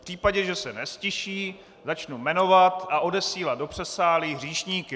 V případě, že se neztiší, začnu jmenovat a odesílat do předsálí hříšníky.